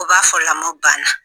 U b'a fɔ lamɔ banna